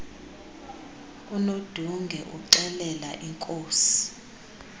unodunge uxelela inkosi